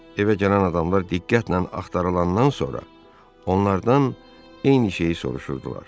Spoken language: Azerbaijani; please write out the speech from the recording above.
Evə gələn adamlar diqqətlə axtarılandan sonra onlardan eyni şeyi soruşurdular.